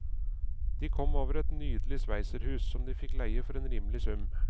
De kom over et nydelig sveitserhus, som de fikk leie for en rimelig sum.